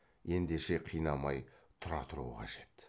ендеше қинамай тұра тұру қажет